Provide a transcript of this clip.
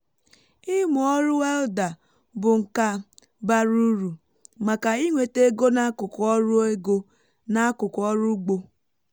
ịmụ ọrụ welda bụ nka bara uru maka inweta ego n’akụkụ ọrụ ego n’akụkụ ọrụ ugbo